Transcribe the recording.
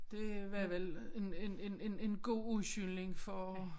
Det var vel en en en en en god undskyldning for